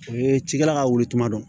O ye cikɛla ka wuli tuma dɔn